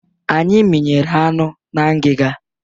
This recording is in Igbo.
Anyị minyere anụ na ngịga.